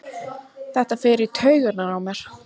Þetta fer í taugarnar á mér.